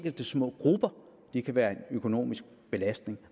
tung økonomisk belastning